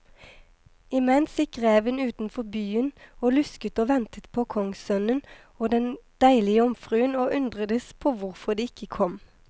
Imens gikk reven utenfor byen og lusket og ventet på kongssønnen og den deilige jomfruen, og undredes på hvorfor de ikke kom.